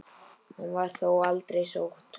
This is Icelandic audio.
Hún var þó aldrei sótt.